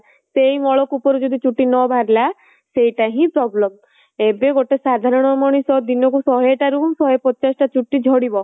ସେଇ ମଳକୂପ ରୁ ଯଦି ଚୁଟି ନ ବାହାରିଲା ସେଇଟା ହିଁ problem ଏବେ ଗୋଟେ ସାଧାରଣ ମଣିଷ ଦିନ କୁ ଶହେ ଟା ରୁ ଶହେ ପଚାଶ ଟା ଚୁଟି ଝାଡ଼ିବ